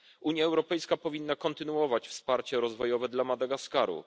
Unia Europejska powinna kontynuować wsparcie rozwojowe dla Madagaskaru.